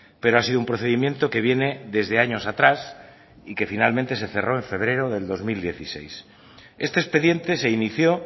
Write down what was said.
pero ha sido un procedimiento que viene desde años atrás y que finalmente se cerró en febrero del dos mil dieciséis este expediente se inició